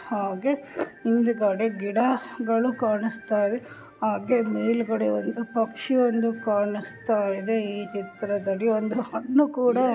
ಹಾಗೆ ಹಿಂದುಗಡೆ ಗಿಡಗಳು ಕಾಣುಸ್ತಯಿದೆ ಹಾಗೆ ಮೇಲೆಗಡೆ ಒಂದು ಪಕ್ಷಿ ಒಂದು ಕಾಣುಸ್ತಯಿದೆ ಈ ಚಿತ್ರದಲ್ಲಿ ಒಂದು ಹಣ್ಣು ಕೂಡ .